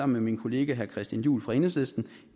med min kollega herre christian juhl fra enhedslisten